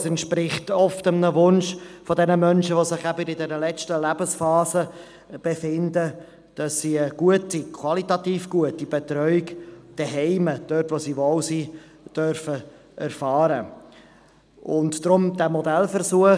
– Es entspricht oft einem Wunsch der Menschen in der letzten Lebensphase, eine gute, qualitativ gute Betreuung zu Hause erfahren zu dürfen, dort, wo sie sich wohlfühlen.